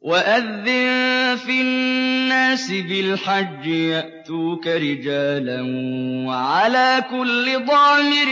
وَأَذِّن فِي النَّاسِ بِالْحَجِّ يَأْتُوكَ رِجَالًا وَعَلَىٰ كُلِّ ضَامِرٍ